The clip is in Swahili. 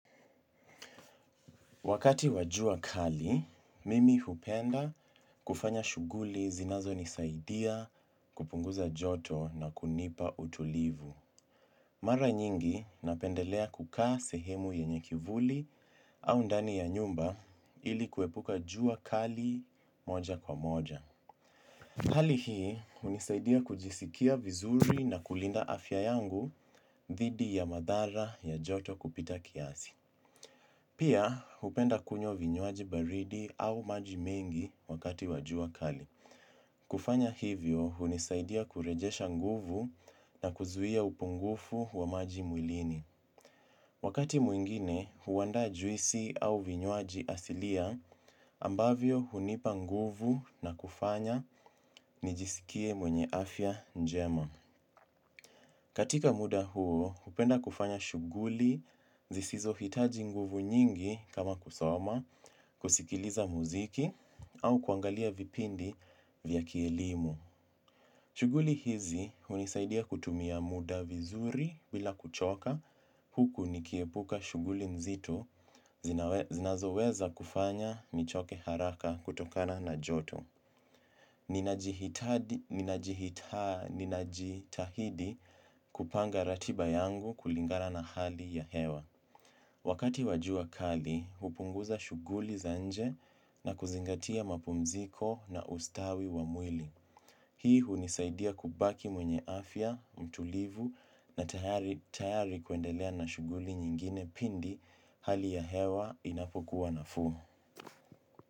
Wakati wa jua kali, mimi hupenda kufanya shughuli zinazonisaidia kupunguza joto na kunipa utulivu. Mara nyingi napendelea kukaa sehemu yenye kivuli au ndani ya nyumba ili kuepuka jua kali moja kwa moja. Hali hii hunisaidia kujisikia vizuri na kulinda afya yangu dhidi ya madhara ya joto kupita kiasi. Pia, hupenda kunywa vinywaji baridi au maji mengi wakati wa jua kali. Kufanya hivyo, hunisaidia kurejesha nguvu na kuzuia upungufu wa maji mwilini. Wakati mwingine, huandaa juisi au vinywaji asilia, ambavyo hunipa nguvu na kufanya nijisikie mwenye afya njema. Katika muda huo, hupenda kufanya shughuli, zisizohitaji nguvu nyingi kama kusoma, kusikiliza muziki, au kuangalia vipindi vya kielimu. Shughuli hizi hunisaidia kutumia muda vizuri bila kuchoka, huku nikiepuka shughuli nzito, zinazoweza kufanya nichoke haraka kutokana na joto. Ninajitahidi kupanga ratiba yangu kulingana na hali ya hewa. Wakati wa jua kali, hupunguza shughuli za nje na kuzingatia mapumziko na ustawi wa mwili. Hii hunisaidia kubaki mwenye afya, mtulivu na tayari kuendelea na shughuli nyingine pindi hali ya hewa inapokuwa nafuu.